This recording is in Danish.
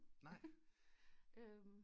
Nej